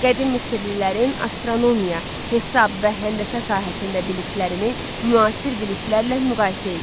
Qədim Misirlilərin astronomiya, hesab və həndəsə sahəsində biliklərini müasir biliklərlə müqayisə eləyin.